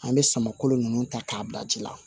An bɛ sama kolo ninnu ta k'a bila ji la